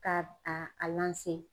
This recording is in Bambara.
Ka a a lanse